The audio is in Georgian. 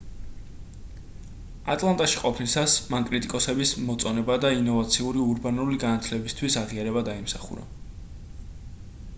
ატლანტაში ყოფნისას მან კრიტიკოსების მოწონება და ინოვაციური ურბანული განათლებისთვის აღიარება დაიმსახურა